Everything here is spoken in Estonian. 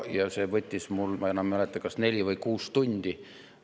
See võttis mul, ma enam ei mäleta, kas neli või kuus tundi.